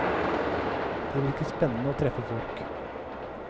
Det virker spennende å treffe folk.